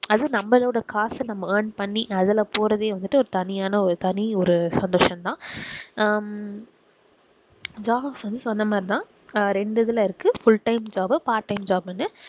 அது நம்பளோட காசு நம்ம earn பண்ணி அதுல போறதே வந்துட்டு ஒரு தனியான தனி ஒரு சந்தோஷம் தான் ஹம் jobs வந்து சொன்ன மாதிரி தான் ஹம் ரெண்டு இதுல இருக்கு full time job, part time job னு